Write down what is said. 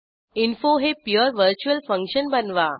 info हे pure virtual function बनवा